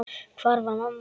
Hvar var mamma?